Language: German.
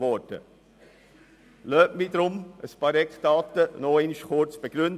Lassen Sie mich deshalb noch kurz einige Eckdaten begründen.